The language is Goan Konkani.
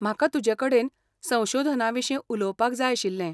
म्हाका तुजेकडेन संशोधनाविशीं उलोवपाक जाय आशिल्लें.